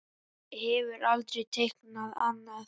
Hann hefur aldrei teiknað annað.